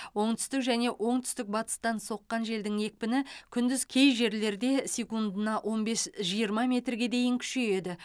оңтүстік және оңтүстік батыстан соққан желдің екпіні күндіз кей жерлерде секундына он бес жиырма метрге дейін күшейеді